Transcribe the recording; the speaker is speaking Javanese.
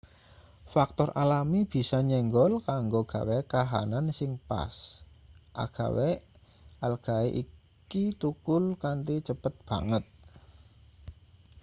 faktor alami bisa nyenggol kanggo gawe kahanan sing pas agawe algae iki thukul kanthi cepet banget